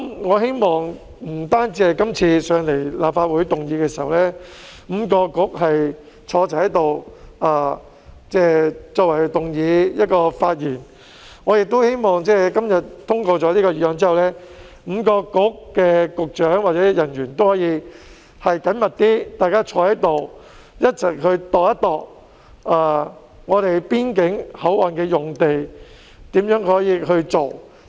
我希望不單是今次5位政策局局長一起出席立法會會議動議議案及發言，而是在今天議案通過後 ，5 個政策局的局長或人員也能夠更緊密地一起研究如何運用邊境口岸用地。